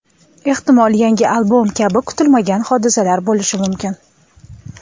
Ehtimol, yangi albom kabi kutilmagan hodisalar bo‘lishi mumkin”.